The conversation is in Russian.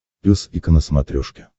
пес и ко на смотрешке